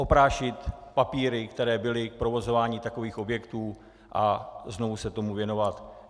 Oprášit papíry, které byly k provozování takových objektů, a znovu se tomu věnovat.